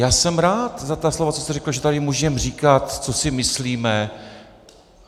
Já jsem rád za ta slova, co jste řekl, že tady můžeme říkat, co si myslíme.